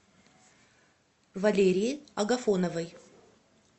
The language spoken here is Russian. валерии агафоновой